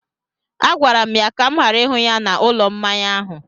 Agwara m ya ka m ghara ịhụ ya n’ụlọ mmanya ahụ!